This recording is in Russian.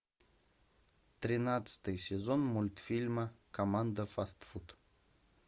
тринадцатый сезон мультфильма команда фастфуд